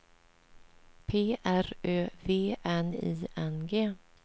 P R Ö V N I N G